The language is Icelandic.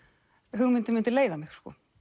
hugmyndin myndi leiða mig